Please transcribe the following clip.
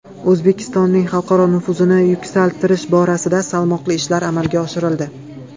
O‘zbekistonning xalqaro nufuzini yuksaltirish borasida salmoqli ishlar amalga oshirildi.